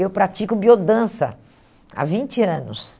Eu pratico biodança há vinte anos.